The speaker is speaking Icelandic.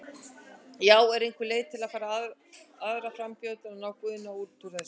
Já, er einhver leið fyrir aðra frambjóðendur að ná Guðna úr þessu?